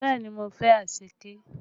Bẹẹ ni, mo fẹ́ anṣẹ̀kẹ́